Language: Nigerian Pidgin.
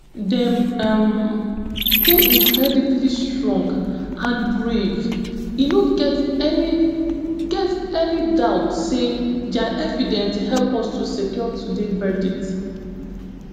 dem um dey incredibly strong and brave e no get any get any doubt say dia evidence help us to secure today verdict